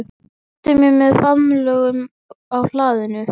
Hann kvaddi mig með faðmlögum á hlaðinu.